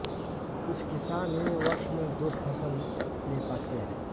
कुछ किसान ही वर्ष में दो फसल ले पाते है